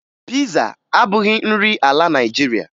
Piza abụghị nri ala Naịjirịa